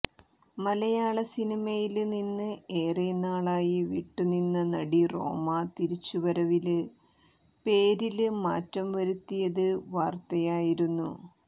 മലയാള സിനിമയില് നിന്ന് ഏറെ നാളായി വിട്ടുനിന്ന നടി റോമ തിരിച്ചുവരവില് പേരില് മാറ്റം വരുത്തിയത് വാര്ത്തയായിരുന്നു